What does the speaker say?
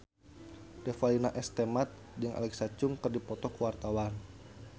Revalina S. Temat jeung Alexa Chung keur dipoto ku wartawan